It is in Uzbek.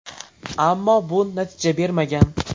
Ammo bu natija bermagan.